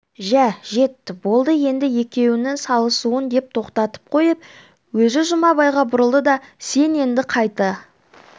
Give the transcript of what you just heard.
жә жетті болды енді екеуіңнің салысуың деп тоқтатып қойып өзі жұмабайға бұрылды да сен енді қайта